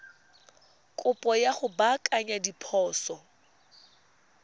kopo ya go baakanya diphoso